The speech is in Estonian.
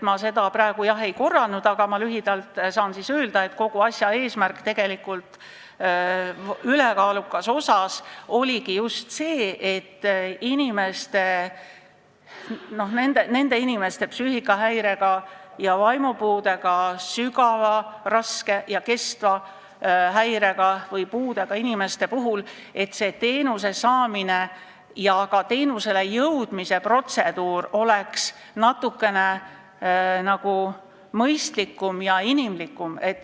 Ma seda praegu ei korranud, aga saan lühidalt öelda, et kogu asja eesmärk ülekaalukas osas oligi just see, et nendel inimestel, psüühikahäirega ja vaimupuudega, sügava, raske ja kestva häirega või puudega inimestel oleks teenuse saamise protseduur natukene mõistlikum ja inimlikum.